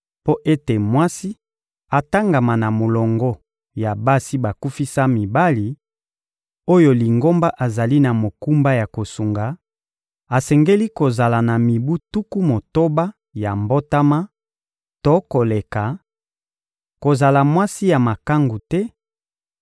Mpo ete mwasi atangama na molongo ya basi bakufisa mibali, oyo Lingomba azali na mokumba ya kosunga, asengeli kozala na mibu tuku motoba ya mbotama to koleka, kozala mwasi ya makangu te,